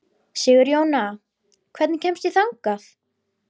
Sigurjóna, hvernig kemst ég þangað?